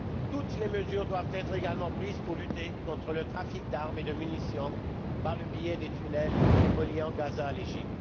Toutes les mesures doivent être également prises pour lutter contre le trafic d'armes et de munitions par le biais des tunnels reliant Gaza à l'Égypte.